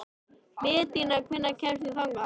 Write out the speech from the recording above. Betanía, hvernig kemst ég þangað?